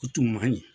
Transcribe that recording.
O tun man ɲi